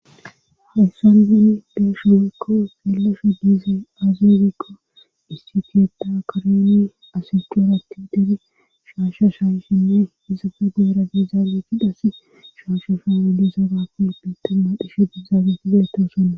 haessan gin deesho weykko gillasho diize aazeerikko istifiyeda karyene asiqorati deri shaasha shaayshinne hisafe geera dezaabeti dhassi shaasha faama desabako biitamma dhishe gezaabeti gayettoosonna